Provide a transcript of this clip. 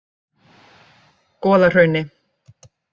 Goðahrauni